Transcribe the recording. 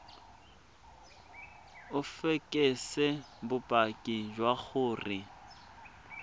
o fekese bopaki jwa gore